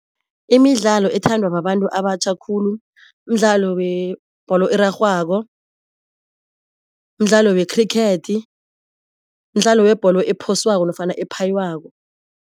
Imidlalo ethandwa babantu abatjha khulu mdlalo webholo erarhwako, mdlalo wekhrikhethi, mdlalo webholo ephoswako nofana ephaywako.